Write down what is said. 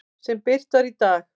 sem birt var í dag.